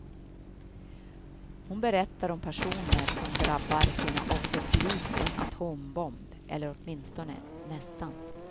Hon berättar om passioner, som drabbar sina offer likt en atombomb eller åtminstone nästan.